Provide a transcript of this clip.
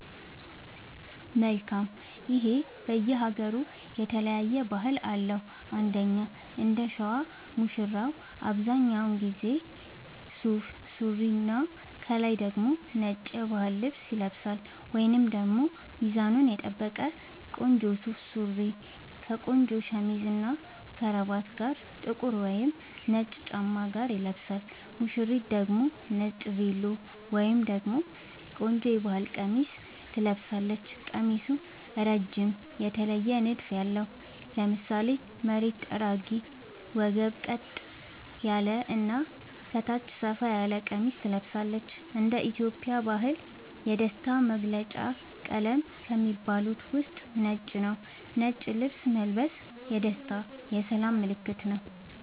መልካም ይሄ በየ ሃገሩ የተለያየ ባህል አለው እንደኛ እንደሸዋ ሙሽራው አብዛኛውን ጊዜ ሱፍ ሱሪና ከላይ ደግሞ ነጭ የባህል ልብስ ይለብሳልወይንም ደግሞ ሚዛኑን የጠበቀ ቆንጆ ሱፍ ሱሪ ከቆንጆ ሸሚዝ እና ከረባት ጋር ጥቁር ወይም ነጭ ጫማ ጋር ይለብሳል ሙሽሪት ደግሞ ነጭ ቬሎ ወይም ደግሞ ቆንጆ የባህል ቀሚስ ትለብሳለች ቀሚሱ እረጅም የተለየ ንድፍ ያለው ( ለምሳሌ መሬት ጠራጊ ወገብ ቀጥ ያለ እና ከታች ሰፋ ያለ ቀሚስ ትለብሳለች )እንደ ኢትዮጵያ ባህል የደስታ መገልውጫ ቀለም ከሚባሉት ውስጥ ነጭ ነዉ ነጭ ልብስ መልበስ የደስታ የሰላም ምልክትም ነዉ